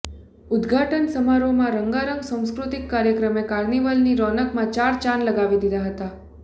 ઉદઘાટન સમારોહમાં રંગારંગ સાંસ્કૃતિક કાર્યક્રમે કાર્નિવલની રોનકમાં ચાર ચાંદ લગાવી દીધા હતા